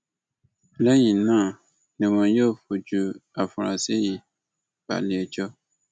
lẹyìn náà ni wọn yóò fojú àfúrásì yìí balẹẹjọ